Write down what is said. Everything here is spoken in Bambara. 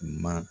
Ma